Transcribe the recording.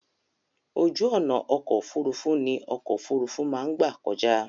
Ojú ọ̀nà ọkọ̀ òfurufú ní ọkọ̀ òfurufú má ń gbà kọjá.